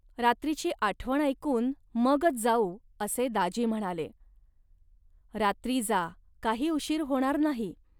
रात्रीची आठवण ऐकून मगच जाऊ, असे दाजी म्हणाले. रात्री जा, काही उशीर होणार नाही